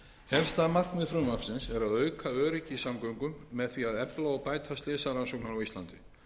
helsta markmið frumvarpsins er að auka öryggi í samgöngum með því að efla og bæta slysarannsóknir á íslandi